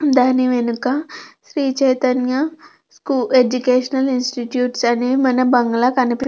దాని వెనుక Sri Chaitanya educational institutes అని మన బంగ్లా కనిపిస్తుంది.